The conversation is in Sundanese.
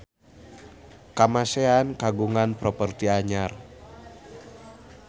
Kamasean kagungan properti anyar